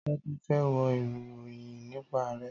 Tádé fe wo ìròyìn nípa Ààrẹ